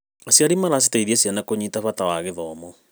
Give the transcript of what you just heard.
Aciari maraciteithia ciana kũnyita bata wa gĩthomo.